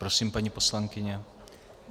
Prosím, paní poslankyně.